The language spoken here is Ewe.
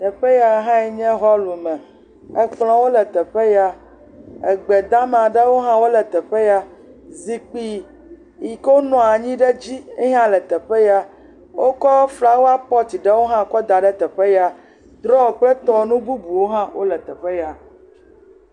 Teƒe ya nye hɔlu me. Kplɔ̃wo le teƒe ya. Egbe dama aɖewo hã le teƒe ya. Zikpui yi ke wonɔa anyi ɖe dzi hã le teƒe ya. Wokɔ flawapɔti ɖewo hã kɔ da ɖe teƒe ya. Drɔ kple tɔwo nu bubuwo hã le teƒe ya.